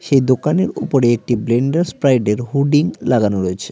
এই দোকানের উপরে একটি ব্লেন্ডার্স স্প্রাইডের হুডিং লাগানো রয়েছে।